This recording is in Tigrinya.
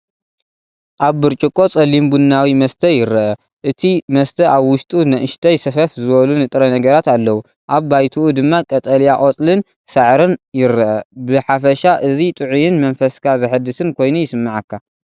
ኣብ ብርጭቆ ጸሊም ቡናዊ መስተ ይረአ፣ እቲ መስተ ኣብ ውሽጡ ንኣሽተይ ሰፈፍ ዝበሉ ንጥረ ነገራት ኣለዎ። ኣብ ባይትኡ ድማ ቀጠልያ ቆጽልን ሳዕርን ይርአ። ብሓፈሻ እዚ ጥዑይን መንፈስካ ዘሐድስን ኮይኑ ይስምዓካ።